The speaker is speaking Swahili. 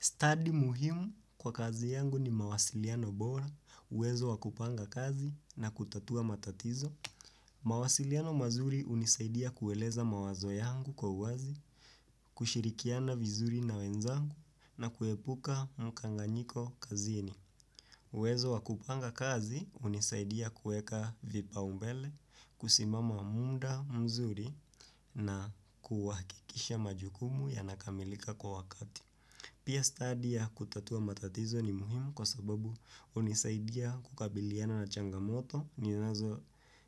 Study muhimu kwa kazi yangu ni mawasiliano bora, uwezo wakupanga kazi na kutatua matatizo. Mawasiliano mazuri hunisaidia kueleza mawazo yangu kwa uwazi, kushirikiana vizuri na wenzangu na kuepuka mkanganyiko kazini. Uwezo wakupanga kazi unisaidia kueka vipaumbele, kusimama muda mzuri na kuhakikisha majukumu ya nakamilika kwa wakati. Pia stadi ya kutatua matatizo ni muhimu kwa sababu hunisaidia kukabiliana na changamoto